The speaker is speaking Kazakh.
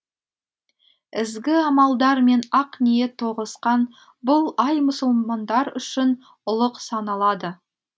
ізгі амалдар мен ақ ниет тоғысқан бұл ай мұсылмандар үшін ұлық саналады